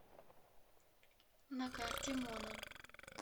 на карте мона